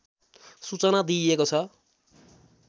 सूचना दिइएको छ